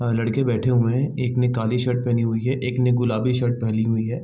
ए लड़के बैठे हुए हैं एक ने काली शर्ट पहनी हुई है एक ने गुलाबी शर्ट पहनी हुई है।